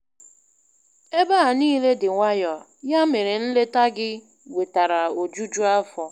Ebe a niile dị nwayọ, ya mere nleta gị wetara ojuju afọ.